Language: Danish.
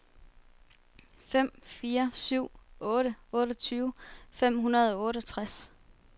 fem fire syv otte otteogtyve fem hundrede og otteogtres